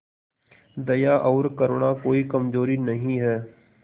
दया और करुणा कोई कमजोरी नहीं है